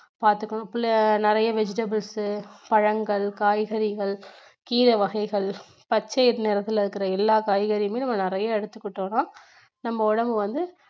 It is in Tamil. பாத்துக்கணும் நிறைய vegetables உ பழங்கள், காய்கறிகள், கீரை வகைகள் பச்சை நிறத்துல இருக்கிற எல்லா காய்கறிகளும் நம்ம நிறைய எடுத்துக்கிட்டோம்னா நம்ம உடம்பு வந்து